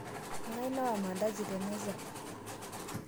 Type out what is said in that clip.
Ngai nawa mandazi temeza?